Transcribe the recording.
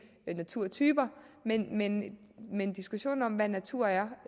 naturtyper men men diskussionen om hvad natur er